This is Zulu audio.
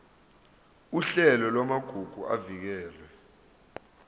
uhlelo lwamagugu avikelwe